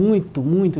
Muito, muito!